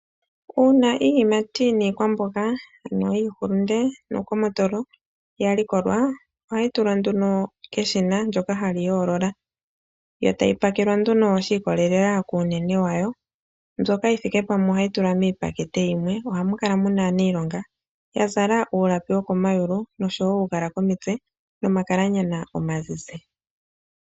Una iiyimati niikwamboga ano iihulunde niingomotolo ya likolwa ohayi tulwa nduno keshina ndyoka hali yolola. Yo tayi pakelwa nduno shi ikolela kuunene yawo mbyoka yi thike pamwe ohayi tulwa miipakete yimwe, ohamu kala ne muna aanilonga ya zala uulapi woko mayulu oshowo uugala komitse nomakalanyanya omazize.